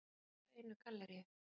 Og bara hjá einu galleríi.